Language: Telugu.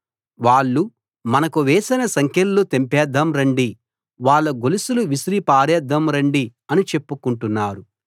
వాళ్ళు మనకు వేసిన సంకెళ్ళు తెంపేద్దాం రండి వాళ్ళ గొలుసులు విసిరి పారేద్దాం రండి అని చెప్పుకుంటున్నారు